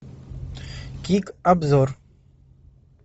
кик обзор